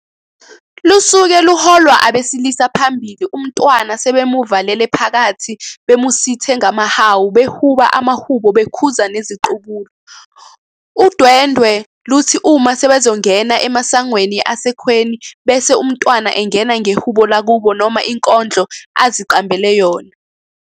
Lusuke luholwa abesilisa phambili umntwana sebemuvalele phakathi bemusithe ngamahawu behuba amahubo bekhuza neziqubulo. Udwendwe luthi uma sebezongena emasangweni asekhweni bese umntwana engena ngehubo lakubo noma inkondlo aziqambele yona.